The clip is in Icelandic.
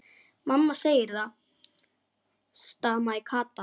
Mamma segir það, stamaði Kata.